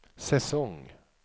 säsong